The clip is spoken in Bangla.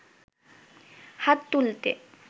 হাত তুলতে